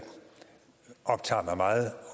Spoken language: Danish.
optager mig meget